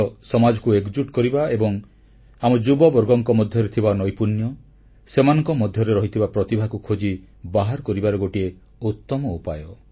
ଖେଳ ସମାଜକୁ ଏକଜୁଟ କରିବା ଏବଂ ଆମ ଯୁବବର୍ଗଙ୍କ ମଧ୍ୟରେ ଥିବା ନୈପୁଣ୍ୟ ସେମାନଙ୍କ ମଧ୍ୟରେ ରହିଥିବା ପ୍ରତିଭାକୁ ଖୋଜି ବାହାର କରିବାର ଗୋଟିଏ ଉତ୍ତମ ଉପାୟ